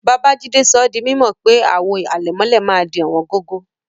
Babajídé sọ dí mímọ̀ pé awọn àwò àlẹ̀mọ̀lẹ̀ màá dì owóngógó.